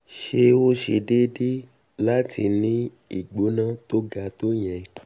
sé ó um ṣe déédé um láti ní ìgbóná um tó ga tó ìyẹn?